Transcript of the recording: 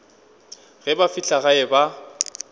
ge ba fihla gae ba